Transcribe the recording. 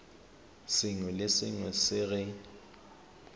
sengwe le sengwe se re